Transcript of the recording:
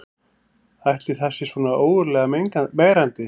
Ætli það sé svona ógurlega megrandi